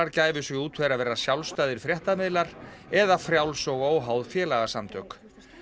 gæfu sig út fyrir að vera sjálfstæðir fréttamiðlar eða frjáls og óháð félagasamtök